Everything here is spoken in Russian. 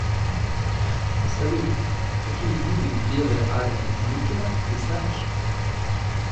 салют какие виды белая армия деникина ты знаешь